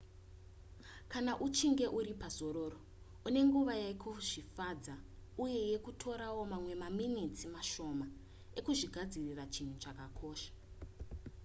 kana uchinge uri pazororo une nguva yekuzvifadza uyezve kutora mamwe maminitsi mashoma ekuzvigadzirira chinhu chakakosha